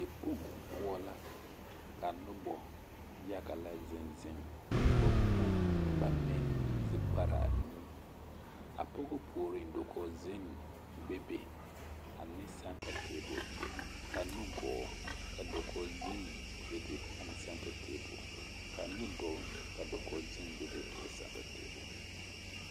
Dikpoŋ poɔ la ka noba yaga lɛ zeŋ zeŋ ka ba po ba meŋe zipare anuu a pɔge puoriŋ dakogi zenne bebe a center table ka nugɔɔ ka dakogi zenne bebe ana centre table ka nuduloŋ ka dakogi zenne bebe ane centre table.